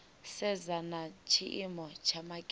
sedza na tshiimo tsha makete